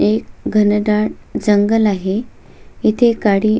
एक घनदाट जंगल आहे इथे काडी--